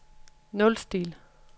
nulstil